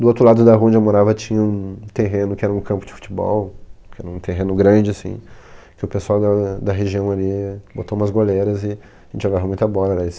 Do outro lado da rua onde eu morava tinha um terreno que era um campo de futebol, um terreno grande, assim, que o pessoal da da região ali botou umas goleiras e a gente jogava muita bola.